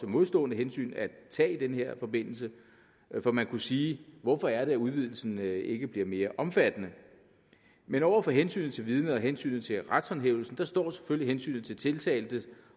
modstående hensyn at tage i den her forbindelse for man kunne sige hvorfor er det at udvidelsen ikke bliver mere omfattende men over for hensynet til vidnet og hensynet til retshåndhævelsen står selvfølgelig hensynet til tiltalte